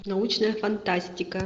научная фантастика